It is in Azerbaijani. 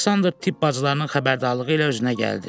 Aleksandr tibb bacılarının xəbərdarlığı ilə özünə gəldi.